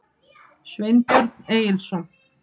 Sveinbjörn Egilsson.